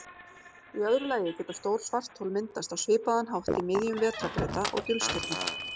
Í öðru lagi geta stór svarthol myndast á svipaðan hátt í miðjum vetrarbrauta og dulstirna.